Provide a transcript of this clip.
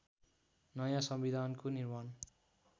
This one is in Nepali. नयाँ संविधानको निर्माण